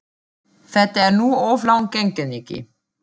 Þetta er nú of langt gengið, Nikki.